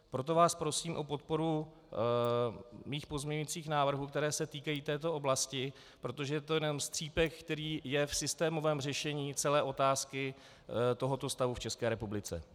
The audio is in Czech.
Proto vás prosím o podporu mých pozměňujících návrhů, které se týkají této oblasti, protože to je jenom střípek, který je v systémovém řešení celé otázky tohoto stavu v České republice.